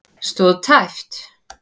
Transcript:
Stóð tæpt